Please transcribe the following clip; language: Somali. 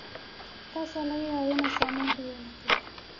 taasoo laga yaabo inay saameyn ku yeelato.